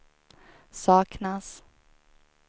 saknas